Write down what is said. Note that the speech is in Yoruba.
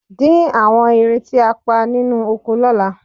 Dín àwọn ìrẹ̀ tí a pa nínú oko lọ́la